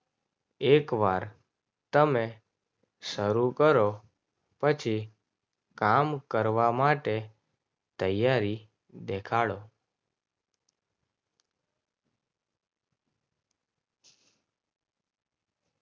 એકવાર તમે શરૂ કરો. પછી કામ કરવા માટે તૈયારી દેખાડો